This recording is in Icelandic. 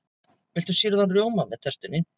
Viltu sýrðan rjóma með tertunni?